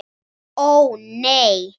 Ó, nei.